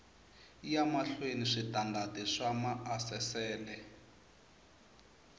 ya mahlweni switandati swa maasesele